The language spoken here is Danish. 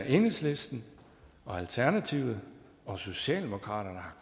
enhedslisten alternativet og socialdemokratiet har